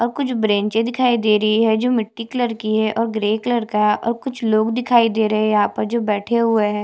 और कुछ ब्रेनचे दिखाई दे रही है जो मिटटी कलर की है और ग्रे कलर का है और कुछ लोग दिखाई दे रहै है यहाँ पर जो बैठे हुए हैं।